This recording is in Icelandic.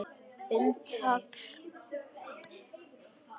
Bind í tagl.